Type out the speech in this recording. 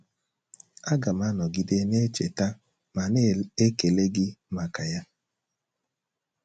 Aga m anọgide na - echeta ma na - ekele gị maka ya.